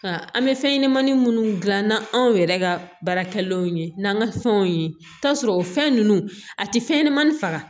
Nka an bɛ fɛn ɲɛnɛmanin munnu dilan n'anw yɛrɛ ka baarakɛlaw ye n'an ka fɛnw ye t'a sɔrɔ o fɛn nunnu a ti fɛn ɲɛnɛmani faga